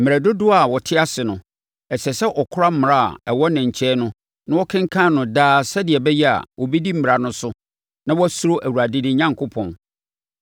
Mmerɛ dodoɔ a ɔte ase no, ɛsɛ sɛ ɔkora mmara a ɛwɔ ne nkyɛn no na ɔkenkan no daa sɛdeɛ ɛbɛyɛ a, ɔbɛdi mmara no so na wasuro Awurade ne Onyankopɔn.